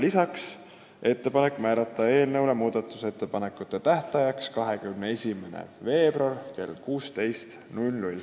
Ka on ettepanek määrata eelnõu muudatusettepanekute tähtajaks 21. veebruar kell 16.